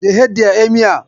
They hate the emir.